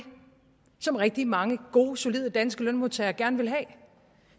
som rigtig mange gode solide danske lønmodtagere gerne vil have